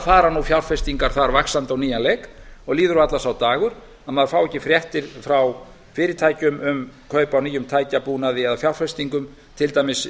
fara nú fjárfestingar þar vaxandi á nýjan leik og líður varla sá dagur að maður fái ekki fréttir frá fyrirtækjum um kaup á nýjum tækjabúnaði eða fjárfestingum til dæmis